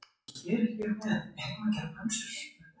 Gefið ykkur fram, gefið ykkur fram, hverjir sem þið eruð.